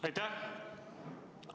Aitäh!